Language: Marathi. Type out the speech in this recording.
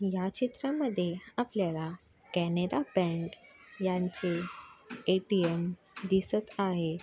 ह्या चित्रामध्ये आपल्याला कॅनरा बँक यांचे ए.टी.एम. दिसत आहे.